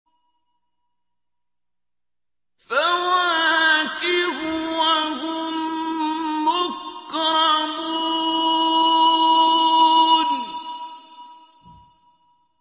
فَوَاكِهُ ۖ وَهُم مُّكْرَمُونَ